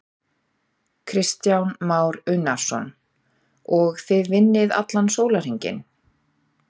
Kristján Már Unnarsson: Og þið vinnið allan sólarhringinn?